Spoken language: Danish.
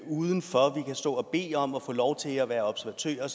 uden for vi kan stå og bede om at få lov til at være observatører